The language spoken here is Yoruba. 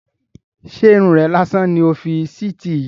Ṣé Irun rè lásán ni o fi síítì yìí?